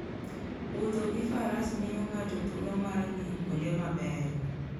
Wuotho gi Faras miyo ng'ato thuolo mar ng'iyo kuonde mabeyo.